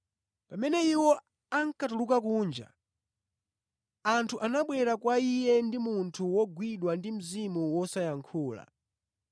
Pamene iwo ankatuluka kunja, anthu anabwera kwa Iye ndi munthu wogwidwa ndi mzimu wosayankhula.